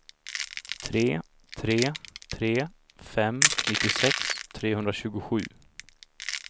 tre tre tre fem nittiosex trehundratjugosju